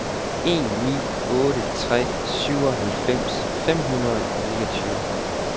en ni otte tre syvoghalvfems fem hundrede og niogtyve